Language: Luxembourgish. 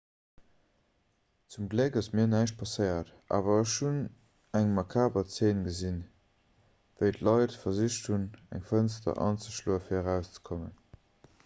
zum gléck ass mir näischt passéiert awer ech hunn eng makaber zeen gesinn wéi d'leit versicht hunn eng fënster anzeschloe fir erauszekommen